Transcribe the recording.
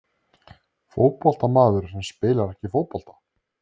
Fótboltamaður sem spilar ekki fótbolta?